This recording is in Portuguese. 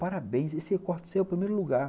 Parabéns, esse corte seu é o primeiro lugar.